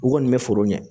U kɔni bɛ foro ɲɛ